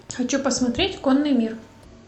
хочу посмотреть конный мир